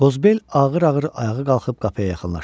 Qozbel ağır-ağır ayağa qalxıb qapıya yaxınlaşdı.